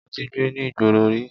Mo ti gbé ní ìgboro rí.